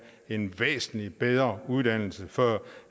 en væsentlig bedre uddannelse før